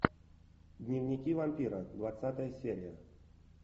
дневники вампира двадцатая серия